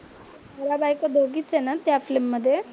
नवरा बायको दोघीच आहे ना त्या फिल्म मध्ये?